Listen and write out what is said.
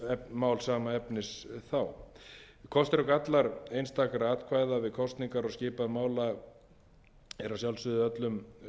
mál sama efnis og þá kostir og gallar einstakra atkvæða við kosningar og skipan mála eru að sjálfsögðu öllum